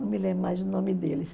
Não me lembro mais o nome deles.